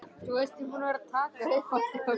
Hluti af gömlum þriggja dala seðli frá Texas.